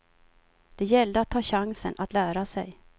Det gällde att ta chansen att lära sig.